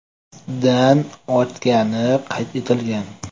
dan ortgani qayd etilgan.